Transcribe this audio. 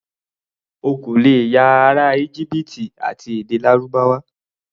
O kò lè ya ará Íjíbítì àti èdè Lárúbáwá.